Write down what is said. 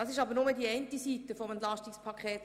Das ist aber nur eine Seite des EP 2018.